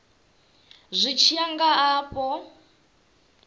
zwi tshi ya nga afho